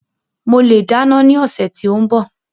Mo le dáná ní ọsẹ ti o n bọ.